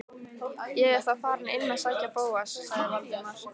Ég er þá farinn inn að sækja Bóas- sagði Valdimar.